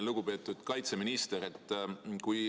Lugupeetud kaitseminister!